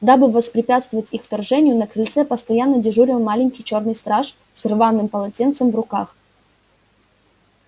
дабы воспрепятствовать их вторжению на крыльце постоянно дежурил маленький чёрный страж с рваным полотенцем в руках